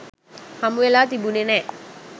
හමුවෙලා තිබුනේ නෑ.